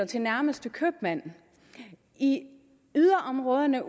til nærmeste købmand i yderområderne